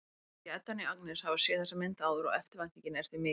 Hvorki Edda né Agnes hafa séð þessa mynd áður og eftirvæntingin er því mikill.